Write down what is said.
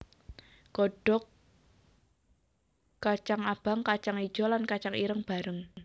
Godhog kacang abang kacang ijo lan kacang ireng bareng